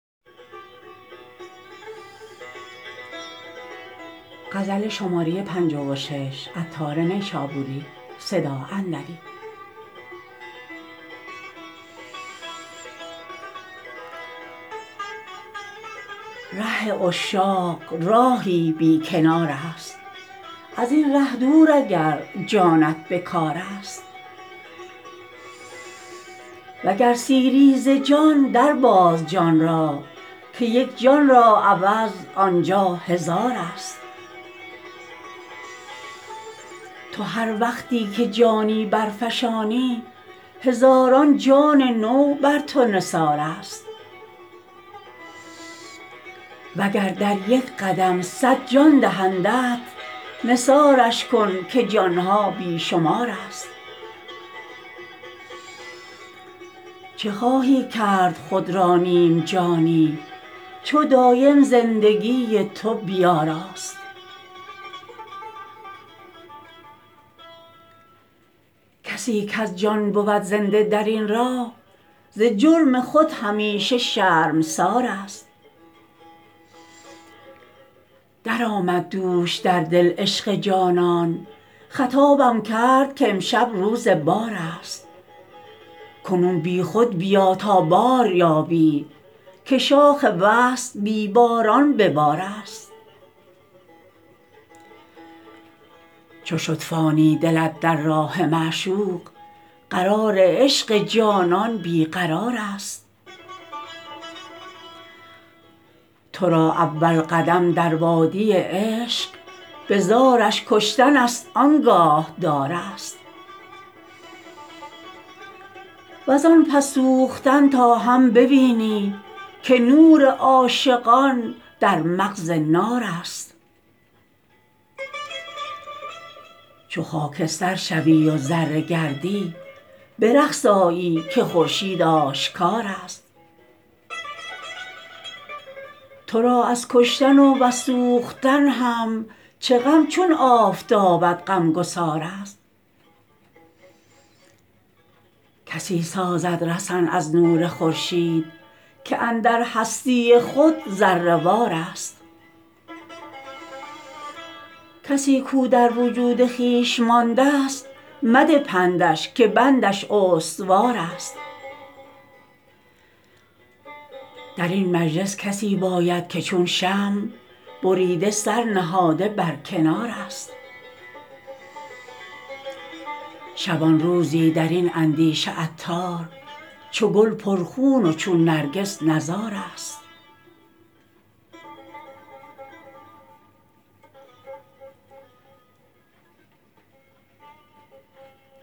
ره عشاق راهی بی کنار است ازین ره دور اگر جانت به کار است وگر سیری ز جان در باز جان را که یک جان را عوض آنجا هزار است تو هر وقتی که جانی برفشانی هزاران جان نو بر تو نثار است وگر در یک قدم صد جان دهندت نثارش کن که جان ها بی شمار است چه خواهی کرد خود را نیم جانی چو دایم زندگی تو به بار است کسی کز جان بود زنده درین راه ز جرم خود همیشه شرمسار است درآمد دوش در دل عشق جانان خطابم کرد کامشب روز بار است کنون بی خود بیا تا بار یابی که شاخ وصل بی باران به بار است چو شد فانی دلت در راه معشوق قرار عشق جانان بی قرار است تو را اول قدم در وادی عشق به زارش کشتن است آنگاه دار است وزان پس سوختن تا هم بوینی که نور عاشقان در مغز نار است چو خاکستر شوی و ذره گردی به رقص آیی که خورشید آشکار است تو را از کشتن و وز سوختن هم چه غم چون آفتابت غمگسار است کسی سازد رسن از نور خورشید که اندر هستی خود ذره وار است کسی کو در وجود خویش ماندست مده پندش که بندش استوار است درین مجلس کسی باید که چون شمع بریده سر نهاده بر کنار است شبانروزی درین اندیشه عطار چو گل پر خون و چون نرگس نزار است